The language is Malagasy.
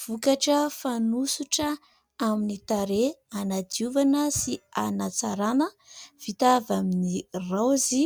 Vokatra fanosotra amin'ny tarehy hanadiovana sy hanatsarana vita avy amin'ny raozy,